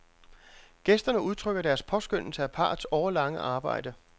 Gæsterne udtrykker deres påskønnelse af parrets årelange arbejde.